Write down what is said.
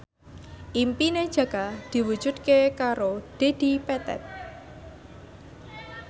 impine Jaka diwujudke karo Dedi Petet